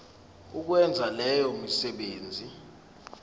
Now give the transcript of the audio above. ukwenza leyo misebenzi